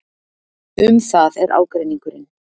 Um það er ágreiningurinn.